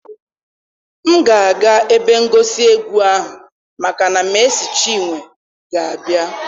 M ga-aga ebe ngosi egwu ahụ maka na Mercy Chinwe ga-abịa.